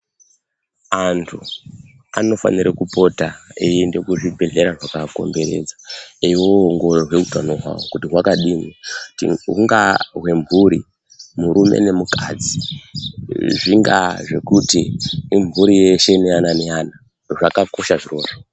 Antu anofanira kupota eienda kuzvibhendleya zvakaapoteredza eindoongorwa utano hwavo hwakadini. Hungaa hwemhuri murume nemukadzi, zvingaa zvekuti imhuri yeshe neana neana zvakakosha zvirozvo.